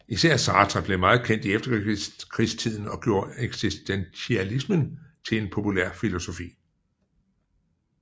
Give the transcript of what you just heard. Især Sartre blev meget kendt i efterkrigstiden og gjorde eksistentialismen til en populær filosofi